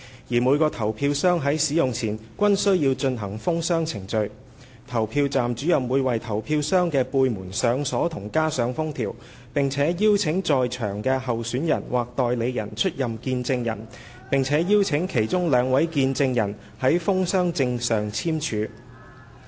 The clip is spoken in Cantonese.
而每個投票箱於使用前均須進行封箱程序，投票站主任會為投票箱的背門上鎖及加上封條，並邀請在場的候選人/代理人出任見證人，並且邀請其中兩名見證人於封箱證上簽署。